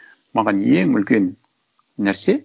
маған ең үлкен нәрсе